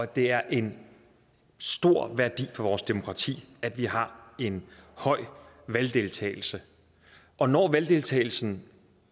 det er en stor værdi for vores demokrati at vi har en høj valgdeltagelse og når valgdeltagelsen